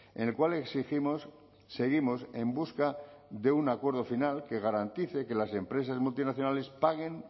en el cual exigimos seguimos en busca de un acuerdo final que garantice que las empresas multinacionales paguen